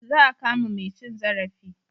Za a kama mai cin zarafi.